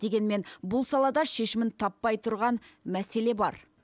дегенмен бұл салада шешімін таппай тұрған мәселе бар